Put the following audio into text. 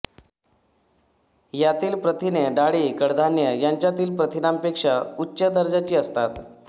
यातील प्रथिने डाळी कडधान्ये यांच्यातील प्रथिनांपेक्षा उच्च दर्जाची असतात